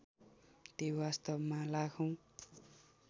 ती वास्तवमा लाखौँ